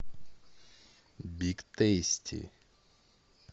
биг тейсти